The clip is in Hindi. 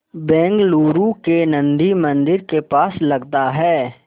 बेंगलूरू के नन्दी मंदिर के पास लगता है